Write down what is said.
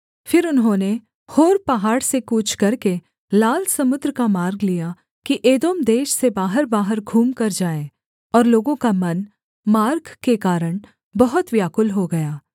फिर उन्होंने होर पहाड़ से कूच करके लाल समुद्र का मार्ग लिया कि एदोम देश से बाहरबाहर घूमकर जाएँ और लोगों का मन मार्ग के कारण बहुत व्याकुल हो गया